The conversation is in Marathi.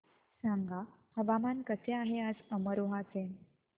सांगा हवामान कसे आहे आज अमरोहा चे